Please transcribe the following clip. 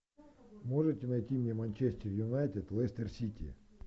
можете найти мне манчестер юнайтед лестер сити